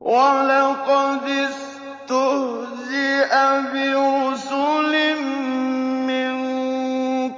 وَلَقَدِ اسْتُهْزِئَ بِرُسُلٍ مِّن